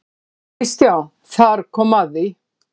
KRISTJÁN: Þar kom að því!